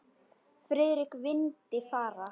Friðrik vildi fara.